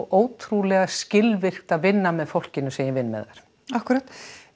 ótrúlega skilvirkt að vinna með fólkinu sem ég vinn með þar akkúrat